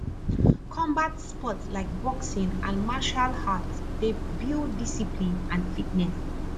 combat sports like boxing and martial arts dey build discipline and fitness